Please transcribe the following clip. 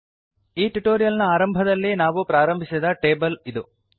ಈ ಟ್ಯುಟೋರಿಯಲ್ ನ ಆರಂಭದಲ್ಲಿ ನಾವು ಪ್ರಾರಂಭಿಸಿದ ಟೇಬಲ್ ಇದು